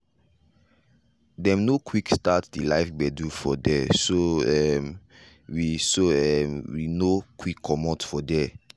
dem nor quick start de live gbedu for there so um we so um we nor quick commot for there.